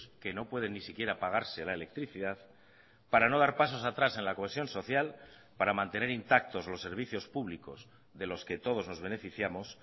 que no pueden ni siquiera pagarse la electricidad para no dar pasos atrás en la cohesión social para mantener intactos los servicios públicos de los que todos nos beneficiamos